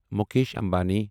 Mukesh Ambani